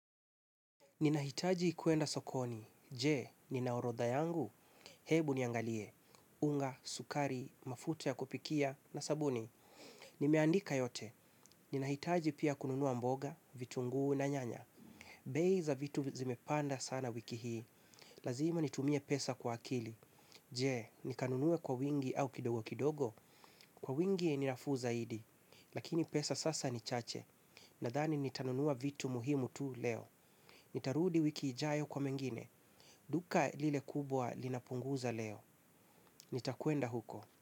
Ninahitaji kuenda sokoni. Je, nina orodha yangu. Hebu niangalie. Unga, sukari, mafuta ya kupikia na sabuni. Nimeandika yote. Ninahitaji pia kununua mboga, vitunguu na nyanya. Bei za vitu zimepanda sana wiki hii. Lazima nitumie pesa kwa akili. Je, nikanunue kwa wingi au kidogo kidogo. Kwa wingi ni nafuu zaidi. Lakini pesa sasa ni chache. Nadhani nitanunua vitu muhimu tu leo. Nitarudi wiki ijayo kwa mengine. Duka lile kubwa linapunguza leo. Nitakwenda huko.